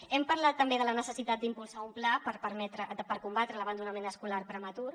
hem parlat també de la necessitat d’impulsar un pla per combatre l’abandonament escolar prematur